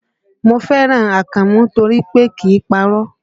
Mo fẹ́ràn Akànmú nítorí pé kìí parọ́